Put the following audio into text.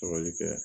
kɛ